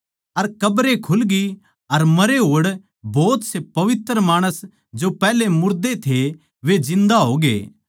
अर कब्रे खुलगी अर मरे होड़ पवित्र माणसां की घणखरे मुर्दे जिन्दा होग्ये